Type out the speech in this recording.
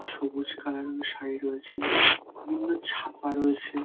সবুজ কালার এর সাড়ি রয়েছে বিভিন্ন ছাপা রয়েছে।